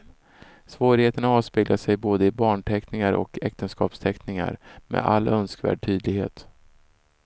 Svårigheterna avspeglar sig både i barnanteckningarna och äktenskapsanteckningar med all önskvärd tydlighet.